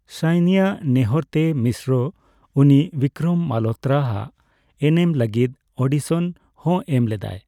ᱥᱟᱭᱱᱤᱭᱟᱜ ᱱᱮᱦᱚᱸᱨᱛᱮ, ᱢᱤᱥᱨᱚ ᱩᱱᱤ ᱵᱤᱠᱨᱚᱢ ᱢᱟᱞᱦᱳᱛᱨᱟ ᱟᱜ ᱮᱱᱮᱢ ᱞᱟᱹᱜᱤᱫ ᱚᱰᱤᱥᱚᱱ ᱦᱚᱸ ᱮᱢ ᱞᱮᱫᱟᱭ ᱾